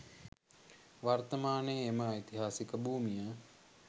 වර්තමානයේ එම ඓතිහාසික භූමිය